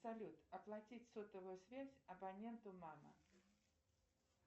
салют оплатить сотовую связь абоненту мама